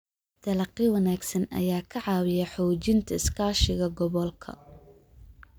Dalagyo wanaagsan ayaa ka caawiya xoojinta iskaashiga gobolka.